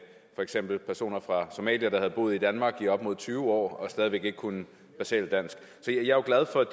for eksempel personer fra somalia der havde boet i danmark i op mod tyve år og stadig væk ikke kunne basalt dansk jeg jo glad for at